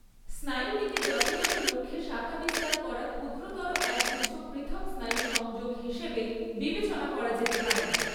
স্নায়ুটিকে যথাযথ লক্ষ্যে শাখা বিস্তার করা ক্ষুদ্রতর একগুচ্ছ পৃথক স্নায়ু সংযোগ হিসেবে বিবেচনা করা যেতে পারে।